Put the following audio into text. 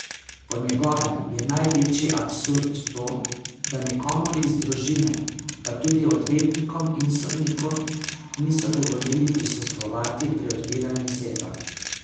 Po njegovem je največji absurd to, da nikomur iz družine, pa tudi odvetnikom in sodniku, niso dovolili prisostvovati pri odpiranju sefa.